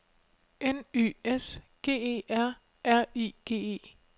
N Y S G E R R I G E